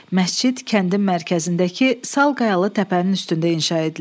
Məscid kəndin mərkəzindəki sal qayalı təpənin üstündə inşa edilib.